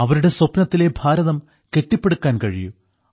അവരുടെ സ്വപ്നത്തിലെ ഭാരതം കെട്ടിപ്പടുക്കാൻ കഴിയൂ